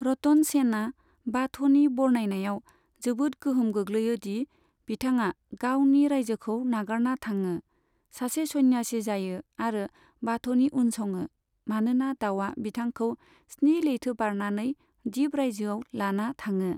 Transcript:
रतन सेनआ बाथ'नि बरनायनायाव जोबोद गोहोम गोग्लैयो दि बिथांआ गावनि रायजोखौ नागारना थाङो, सासे सन्यासि जायो आरो बाथ'नि उनसङो मानोना दाउआ बिथांखौ स्नि लैथो बारनानै दिप रायजोयाव लाना थाङो।